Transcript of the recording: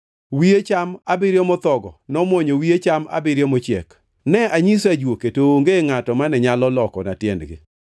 Wiye cham abiriyo mothogo nomwonyo wiye cham abiriyo mochiek. Ne anyiso ajuoke, to onge ngʼato mane nyalo lokona tiendgi.”